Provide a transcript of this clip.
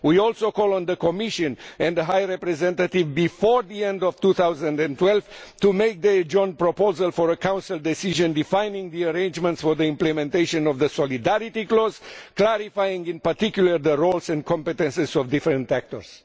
We also call on the Commission and the High Representative before the end of 2012 to make the joint proposal for a Council Decision, defining the arrangements for the implementation of the solidarity clause, clarifying in particular the roles and competences of different actors.